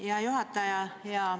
Hea juhataja!